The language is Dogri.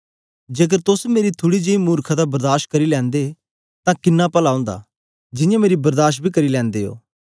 जेकर तोस मेरी थुड़ी जेई मुर्खता बर्दाश करी लैंदे तां किन्ना पला ओंदा जियां मेरी बर्दाश बी करी लैंदे ओ